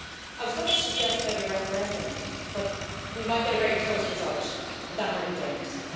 So, I was going to suggest maybe a referendum but we might get a very close result, and that might be dangerous.